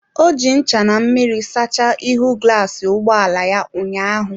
Ọ ji ncha na mmiri sachaa ihu glasị ụgbọ ala ụnyaahụ.